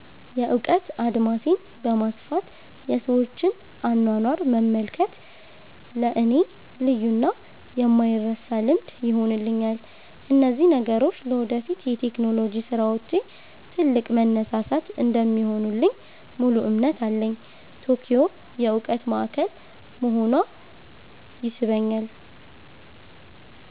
የእውቀት አድማሴን በማስፋት የሰዎችን አኗኗር መመልከት ለእኔ ልዩና የማይረሳ ልምድ ይሆንልኛል። እነዚህ ነገሮች ለወደፊት የቴክኖሎጂ ስራዎቼ ትልቅ መነሳሳት እንደሚሆኑልኝ ሙሉ እምነት አለኝ። ቶኪዮ የእውቀት ማዕከል መሆኗ ይስበኛል።